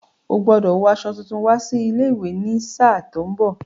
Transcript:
Ó gbọ́dọ̀ wo aṣọ tuntun wá sí ilé-ìwé ní sáà tí ó ń bọ̀.